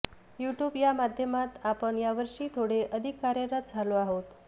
YouTube या माध्यमात आपण या वर्षी थोडे अधिक कार्यरत झालो आहोत